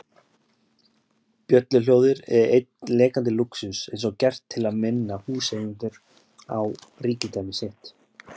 Bjölluhljóðið er einn lekandi lúxus, eins og gert til að minna húseigendur á ríkidæmi sitt.